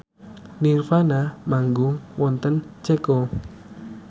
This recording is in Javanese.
nirvana manggung wonten Ceko